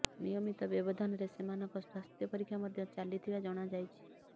ନିୟମିତ ବ୍ୟବଧାନରେ ସେମାନଙ୍କ ସ୍ୱାସ୍ଥ୍ୟ ପରୀକ୍ଷା ମଧ୍ୟ ଚାଲିଥିବା ଜଣାଯାଇଛି